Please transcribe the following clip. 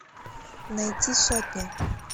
найти сотня